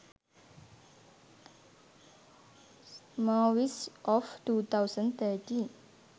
movies of 2013